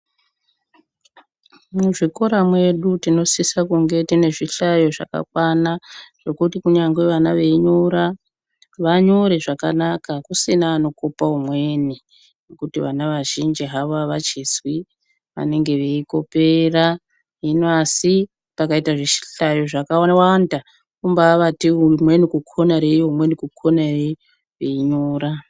Muzvikora mwedu tinosisa kunge tiyine zvihlayo zvakakwana, zvokuti kunyangwe vana veyinyora, vanyore zvakanaka kusina anokopa umweni, nokuti vana vazhinji havo avachizwi vanenge veyikopera, hino asi pakayita zvihlayo zvakawanda, kumbavati umweni kukona reiyo, umweni kukona reiyo, veyinyora.